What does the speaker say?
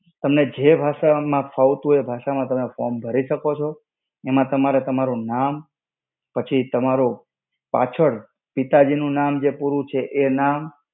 તને જે ભાષા માં ફાવતું હોય એ ભાષા માં form ભરી શકો છો. એમાં તમારે તમારું નામ, પછી તમારો પાછળ પિતાજીનું નામ જે પૂરું છે એ નામ.